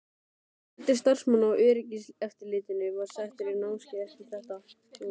Fjöldi starfsmanna í öryggiseftirlitinu var settur á námskeið eftir þetta?